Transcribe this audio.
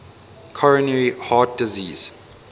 coronary heart disease